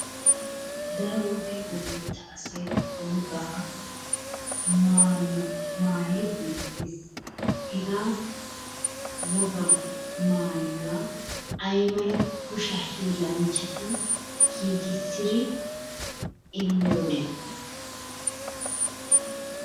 Daro wode wolayitta asay ba wogaa maayuwa maayidi beettes. Hegaa wogaa maayuwa aymala kushiya hiillanchchati giigissidi immidona?